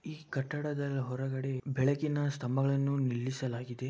ಈ ಕಟ್ಟಡದ ಹೊರಗಡೆ ಬೆಳಕಿನ ಸ್ತಂಭಗಳನ್ನು ನಿಲ್ಲಿಸಲಾಗಿದೆ.